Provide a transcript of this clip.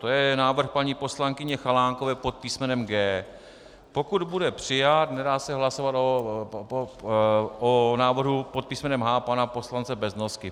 To je návrh paní poslankyně Chalánkové pod písmenem G. Pokud bude přijat, nedá se hlasovat o návrhu pod písmenem H pana poslance Beznosky.